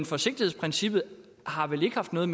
forsigtighedsprincippet har vel ikke haft noget